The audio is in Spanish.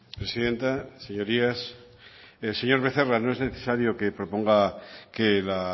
presidenta señorías señor becerra no es necesario que proponga que la